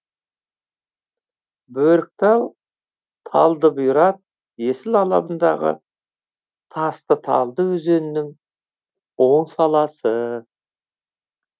бөріктал талдыбұйрат есіл алабындағы тастыталды өзенінің оң саласы